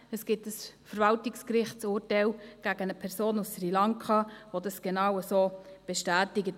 Es gibt ein Verwaltungsgerichtsurteil gegen eine Person aus Sri Lanka, welches das genau so bestätigt.